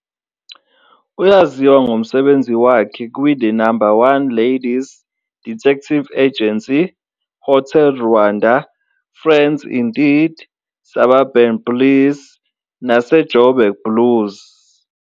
Uyaziwa ngomsebenzi wakhe "kwiThe No 1 Ladies 'Detective Agency", "Hotel Rwanda", "Friends Indeed", "Suburban Bliss" "naseJoburg Blues".